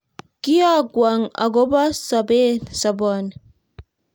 Kiakwong' akobo sobet ni